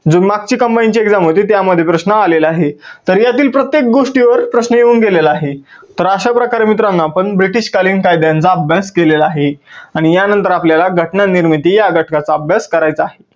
जे मागची combine ची exam होती त्यामध्ये प्रश्न आलेला आहे. तर यातील प्रत्येक गोष्टीवर प्रश्न येऊन गेलेला आहे. तर अश्या प्रकारे मित्रांनो आपण ब्रिटीश कालीन कायद्यांचा अभ्यास केलेला आहे. आणि या नंतर आपल्याला घटना निर्मिती या घटकाचा अभ्यास करायचा आहे.